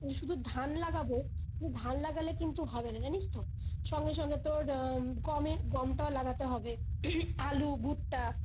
ওই শুধু ধান লাগাবো শুধু ধান লাগালে হবে না জানিস তো সঙ্গে সঙ্গে তোর উম গমের গমটাও লাগাতে হবে আলু ভুট্টা